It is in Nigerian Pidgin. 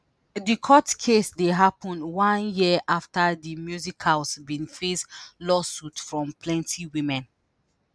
di court case dey happun one year afta di musicials bin face lawsuits from plenti women.